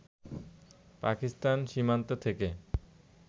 পাকিস্তান সীমান্ত থেকে